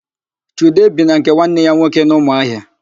Chude bi na nke nwanne nna ya nwoke n'Ụmụahịa